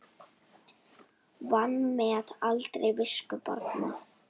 Vanmet aldrei visku barna.